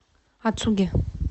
ацуги